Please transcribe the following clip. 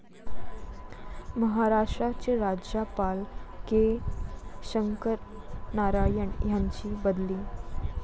महाराष्ट्राचे राज्यपाल के. शंकरनारायण यांची बदली